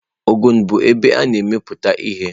Ogun bụ ebe a na-emepụta ihe.